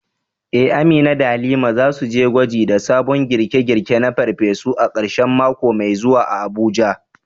Eh, Amina da Halima za su yi gwaji da sabon girke-girke na farfesu a karshen mako mai zuwa a Abuja.